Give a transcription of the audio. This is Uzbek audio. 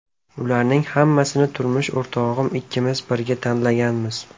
Ularning hammasini turmush o‘rtog‘im ikkimiz birga tanlaganmiz.